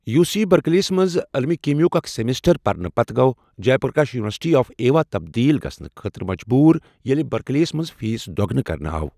U C بٔرکلیےہس منٛز عٔلۍمہِ کیٖمِیاہُک اَکھ سیٚمِسٹر پرنہٕ پتہٕ گوٚو Jay Prakash university of Iowa تبدیٖل گَژھنہٕ خٲطرٕ مجبوٗر، ییٚلہِ بٔرکٮ۪لیےہس منٛز فیٖس دۄگنہٕ کرنہٕ آو ۔